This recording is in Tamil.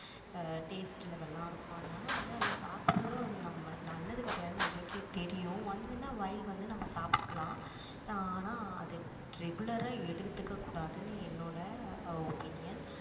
taste level லாம் இருக்கும் அதனால வந்து அதை சாப்பிடறதும் வந்து நம்ம நல்லது கிடையாது நம்பளுக்கே தெரியும் once in a while வந்து நம்ம சாப்பிடுக்கலாம் ஆனால் அது regular ஆ எடுத்துக்க கூடாதுன்னு என்னோட opinion